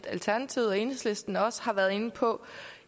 alternativet og enhedslisten også har været inde på